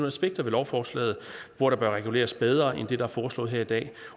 aspekter ved lovforslaget hvor der bør reguleres bedre end det der er foreslået her i dag